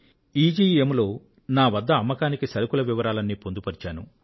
ఈజీఇఎమ్ లో నా వద్ద అమ్మకానికి సరుకుల వివరాలన్నీ పొందుపరిచాను